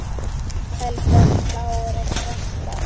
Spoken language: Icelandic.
Eldgos, plágur og frosta